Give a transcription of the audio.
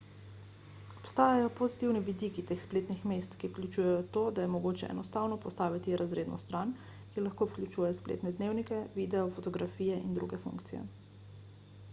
obstajajo pozitivni vidiki teh spletnih mest ki vključujejo to da je mogoče enostavno postaviti razredno stran ki lahko vključuje spletne dnevnike videe fotografije in druge funkcije